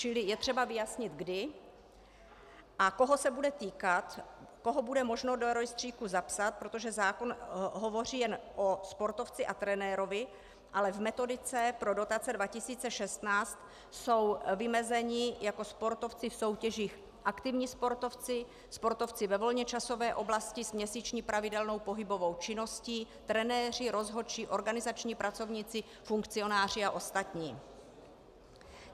Čili je třeba vyjasnit, kdy a koho se bude týkat, koho bude možno do rejstříku zapsat, protože zákon hovoří jen o sportovci a trenérovi, ale v metodice pro dotace 2016 jsou vymezeni jako sportovci v soutěžích aktivní sportovci, sportovci ve volnočasové oblasti s měsíční pravidelnou pohybovou činností, trenéři, rozhodčí, organizační pracovníci, funkcionáři a ostatní.